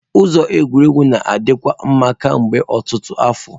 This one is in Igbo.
Ụzọ egwuregwu na-adikwa mma kemgbe ọtụtụ afọ.